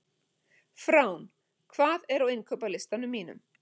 Frán, hvað er á innkaupalistanum mínum?